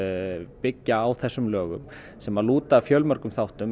byggja á þessum lögum sem lúta að fjölmörgum þáttum